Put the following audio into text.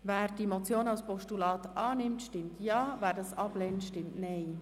Wer diese Motion als Postulat annimmt, stimmt Ja, wer dies ablehnt, stimmt Nein.